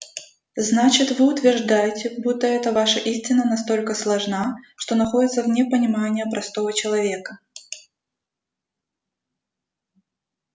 значит вы утверждаете будто эта ваша истина настолько сложна что находится вне понимания простого человека